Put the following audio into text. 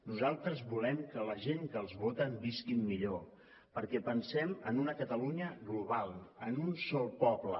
nosaltres volem que la gent que els voten visquin millor perquè pensem en una catalunya global en un sol poble